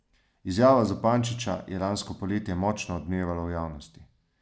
Izjava Zupančiča je lansko poletje močno odmevala v javnosti.